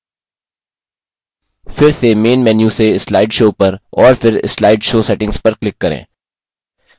फिर से main menu से slide show पर और फिर slide show settings पर click करें